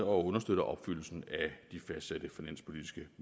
og understøtter opfyldelsen af de fastsatte finanspolitiske